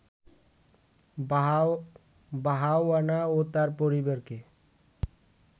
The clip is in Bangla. বাহাওয়ানা ও তার পরিবারকে